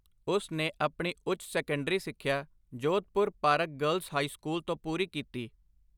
ਉਸ ਨੇ ਆਪਣੀ ਉੱਚ ਸੈਕੰਡਰੀ ਸਿੱਖਿਆ Jodhpur park girls high school ਤੋਂ ਪੂਰੀ ਕੀਤੀ।